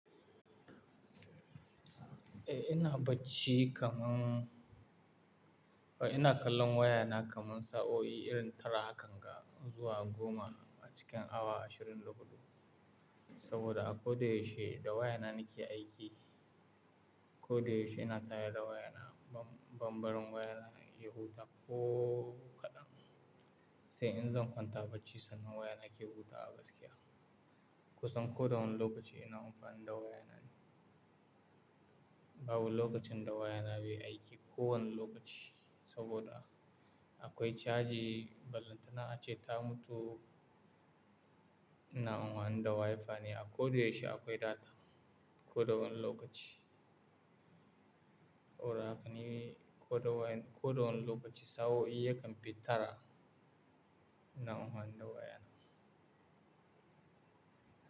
Eh ina bacci kamar-- ina kallon wayana kamar sa'o'i irin tara hakan ga zuwa goma a cikin awa ashirin da hudu. Saboda a ko da yaushe da wayana nake aiki. Ko da yaushe ina tayar da wayana. Bambarin wayana ya huta ko kaɗan. Sai in zan kwanta bacci sannan wayana ke hutawa gaskiya. Kusan ko da wane lokaci ina amfani da wayana ni. Babu lokacin da wayana bai aiki kowane lokaci. Saboda akwai caji balantana ace ta mutu, ina amfani da Wi-Fi ne. A ko da yaushe akwai data ko da wane lokaci. Saboda hakan ni ko da wayan ko da wane lokaci sa'o'i yakan fi tara ina amfani da wayana.